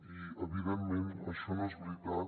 i evidentment això no és veritat